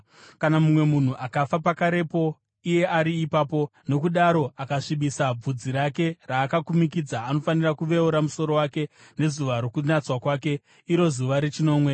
“ ‘Kana mumwe munhu akafa pakarepo iye ari ipapo, nokudaro akasvibisa bvudzi raakakumikidza, anofanira kuveura musoro wake nezuva rokunatswa kwake, iro zuva rechinomwe.